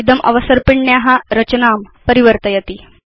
इदम् अवसर्पिण्या रचनां परिवर्तयति